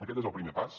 aquest és el primer pas